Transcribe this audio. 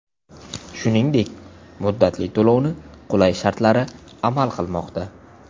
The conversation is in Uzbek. Shuningdek muddatli to‘lovni qulay shartlari amal qilmoqda.